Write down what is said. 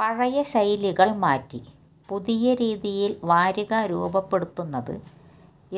പഴയ ശൈലികള് മാറ്റി പുതിയ രീതിയില് വാരിക രൂപപ്പെടുത്തുന്നത്